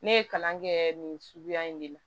Ne ye kalan kɛ nin suguya in de la